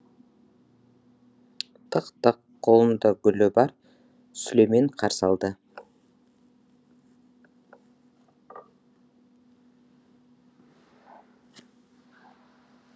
тық тық қолында гүлі бар сүлеймен қарсы алды